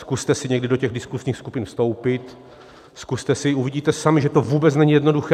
Zkuste si někdy do těch diskuzních skupin vstoupit, zkuste si, uvidíte sami, že to vůbec není jednoduché.